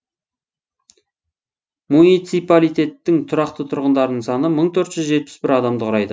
муниципалитеттің тұрақты тұрғындарының саны мың төрт жүз жетпіс бір адамды құрайды